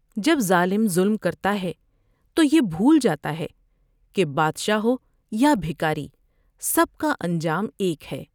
جب ظالم ظلم کرتا ہے تو یہ بھول جاتا ہے کہ بادشاہ ہو یا بھکاری سب کا انجام ایک ہے ۔